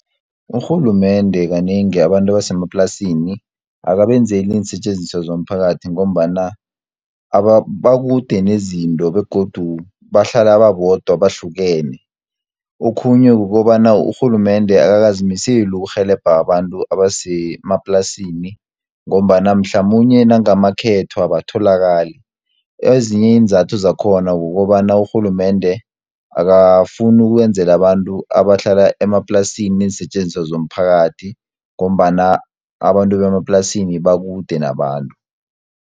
Urhulumende kanengi abantu abasemaplasini, akabenzeli iinsetjenziswa zomphakathi ngombana, bakude nezinto begodu bahlala babodwa bahlukene. Okhunye kukobana urhulumende akakazimiseli ukurhelebha abantu abasemaplasini, ngombana mhlamunye nangamakhetho abatholakali. Ezinye iinzathu zakhona kukobana urhulumende akafuni ukwenzela abantu abahlala emaplasini, neensetjenziswa zomphakathi ngombana abantu bemaplasini bakude nabantu.